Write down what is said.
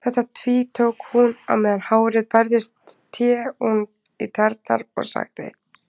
Þetta tvítók hún og á meðan hárið bærðist sté hún í tærnar og sagði